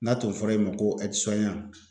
N'a tun fɔra e ma ko